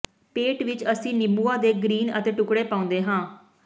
ਪੇਟ ਵਿਚ ਅਸੀਂ ਨਿੰਬੂਆਂ ਦੇ ਗਰੀਨ ਅਤੇ ਟੁਕੜੇ ਪਾਉਂਦੇ ਹਾਂ